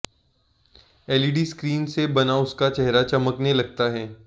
LED screen से बना उसका चेहरा चमकने लगता है